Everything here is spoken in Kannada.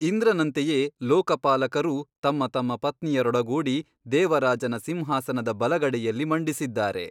ಇಂದ್ರನಂತೆಯೇ ಲೋಕಪಾಲಕರೂ ತಮ್ಮ ತಮ್ಮ ಪತ್ನಿಯರೊಡಗೂಡಿ ದೇವರಾಜನ ಸಿಂಹಾಸನದ ಬಲಗಡೆಯಲ್ಲಿ ಮಂಡಿಸಿದ್ದಾರೆ.